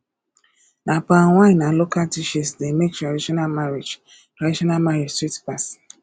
na palm wine and local dishes dey make traditional marriage traditional marriage sweet pass